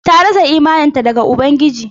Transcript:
Ta rasa imaninta ga Ubangiji.